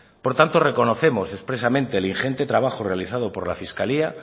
por tanto reconocemos expresamente el ingente trabajo realizado por la fiscalía